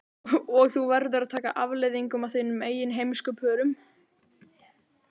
Og þú verður að taka afleiðingunum af þínum eigin heimskupörum.